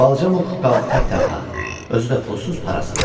Balaca Muk qaldı tək-tənha, özü də pulsuz-parasız.